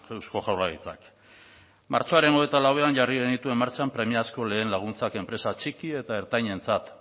eusko jaurlaritzak martxoaren hogeita lauean jarri genituen martxan premiazko lehen laguntzak enpresa txiki eta ertainentzat